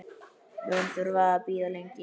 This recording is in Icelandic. Mun þurfa að bíða lengi.